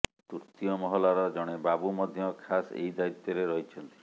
ତୃତୀୟ ମହଲାର ଜଣେ ବାବୁ ମଧ୍ୟ ଖାସ୍ ଏହି ଦାୟିତ୍ୱରେ ରହିଛନ୍ତି